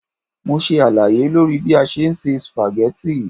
Mo ṣe àlàyé lórí bí a ṣe ń se sùpàgẹ́tì.